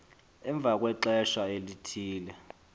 emva kwexesha elithile